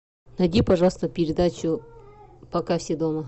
найди пожалуйста передачу пока все дома